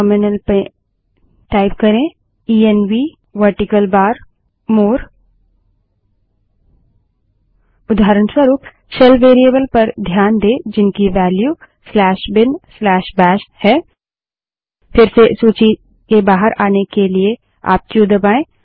terminal में type करें ENV vertical bar more ENV space vertical bar more उदाहरणस्वरूप shell variable पर ध्यान दें जिनकी वेल्यू binbashबिनबैश है फिर से सूची के बाहर आने के लिए आप क्यू दबायें